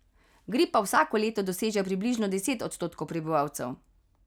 Gripa vsako leto doseže približno deset odstotkov prebivalcev.